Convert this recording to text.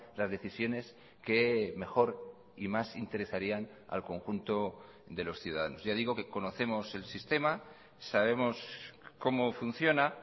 las decisiones que mejor y más interesarían al conjunto de los ciudadanos ya digo que conocemos el sistema sabemos cómo funciona